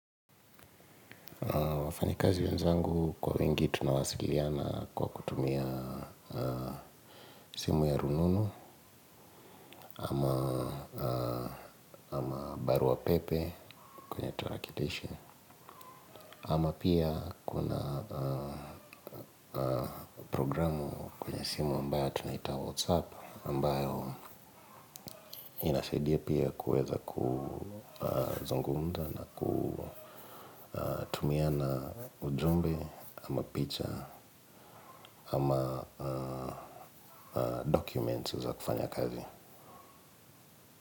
Wafanyikazi wenzangu kwa wingi tunawasiliana kwa kutumia simu ya rununu ama barua pepe kwenye tarakilishi. Ama pia kuna programu kwenye simu ambayo tunaita WhatsApp ambayo inasaidia pia kuweza kuzungumza na kutumiana ujumbe ama picha ama documents za kufanya kazi.